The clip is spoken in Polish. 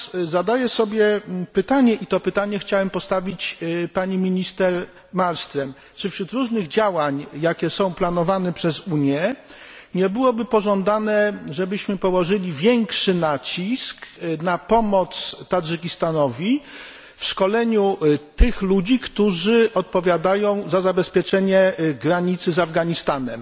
Zadaję sobie natomiast pytanie i to pytanie chciałem postawić pani minister Malmström czy wśród różnych działań, jakie są planowane przez Unię, nie byłoby pożądane, żebyśmy położyli większy nacisk na pomoc Tadżykistanowi w szkoleniu ludzi, którzy odpowiadają za zabezpieczenie granicy z Afganistanem?